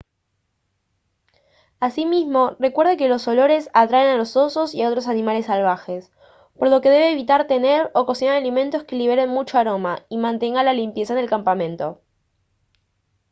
asimismo recuerde que los olores atraen a los osos y a otros animales salvajes por lo que debe evitar tener o cocinar alimentos que liberen mucho aroma y mantenga la limpieza en el campamento